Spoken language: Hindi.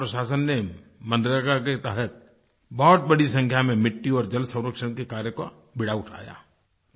ज़िला प्रशासन ने मनरेगा के तहत बहुत बड़ी संख्या में मिट्टी और जलसंरक्षण के कार्य का बीड़ा उठाया